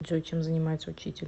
джой чем занимается учитель